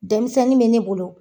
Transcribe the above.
Denmisɛnnin bɛ ne bolo.